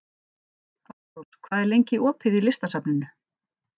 Ástrós, hvað er lengi opið í Listasafninu?